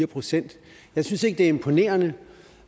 procent jeg synes ikke det er imponerende